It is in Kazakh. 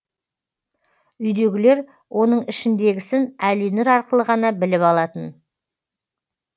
үйдегілер оның ішіндегісін әлинұр арқылы ғана біліп алатын